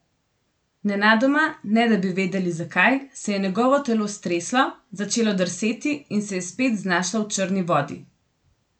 Nenadoma, ne da bi vedeli zakaj, se je njegovo telo streslo, začelo drseti in se je spet znašlo v črni vodi.